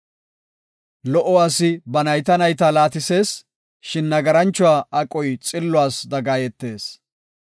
Lo77o asi ba nayta nayta laatisees; shin nagaranchuwa aqoy xilluwas dagayetees.